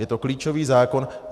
Je to klíčový zákon.